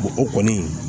o kɔni